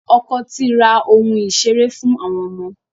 Ọkọ ti ra ohun ìṣeré fún àwọn ọmọ.